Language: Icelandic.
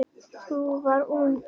Sú var ung!